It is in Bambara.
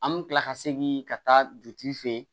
An bɛ kila ka segin ka taa dugutigi fɛ yen